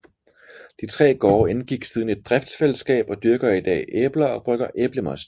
De tre gårde indgik siden et driftsfællesskab og dyrker i dag æbler og brygger æblemost